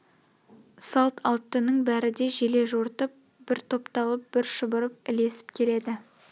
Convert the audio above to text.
салт аттының бәрі де желе жортып бір топталып бір шұбырып ілесіп келеді